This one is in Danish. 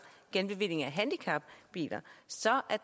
genbevilling af handicapbiler så er